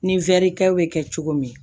Ni wɛrikɛw bɛ kɛ cogo min